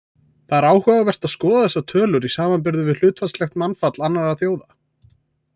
Það er áhugavert að skoða þessar tölur í samanburði við hlutfallslegt mannfall annarra þjóða.